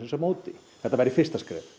á móti þetta væri fyrsta skref